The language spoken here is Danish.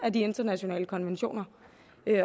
af de internationale ko nventioner